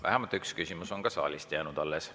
Vähemalt üks küsimus on ka saalist jäänud alles.